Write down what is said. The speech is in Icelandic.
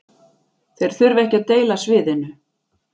Þeir þurfa ekki að deila sviðinu